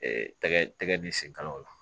tɛgɛ tɛ tɛgɛ ni senkalaw la